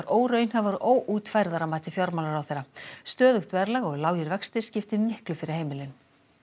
óraunhæfar og óútfærðar að mati fjármálaráðherra stöðugt verðlag og lágir vextir skipti miklu fyrir heimilin